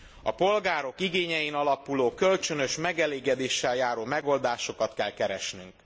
A polgárok igényein alapuló kölcsönös megelégedéssel járó megoldásokat kell keresnünk.